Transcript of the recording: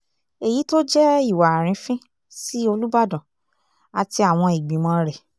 èyí tó jẹ́ ìwà àrífín sí olùbàdàn àti àwọn ìgbìmọ̀ rẹ̀